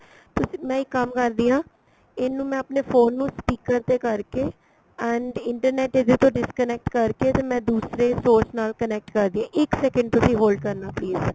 ਤਸੀ ਮੈਂ ਇੱਕ ਕੰਮ ਕਰਦੀ ਆ ਇਹਨੂੰ ਮੈਂ ਆਪਣੇ phone ਨੂੰ speaker ਤੇ ਕਰਕੇ and internet ਇਹਦੇ ਤੋਂ disconnect ਕਰਕੇ ਤੇ ਮੈਂ ਦੂਸਰੇ source ਨਾਲ connect ਕਰਦੀ ਆ ਇੱਕ second ਤੁਸੀਂ hold ਕਰਨਾ please